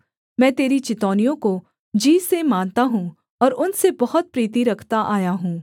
मैं तेरी चितौनियों को जी से मानता हूँ और उनसे बहुत प्रीति रखता आया हूँ